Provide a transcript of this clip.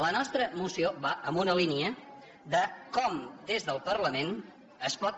la nostra moció va en una línia de com des del parlament es pot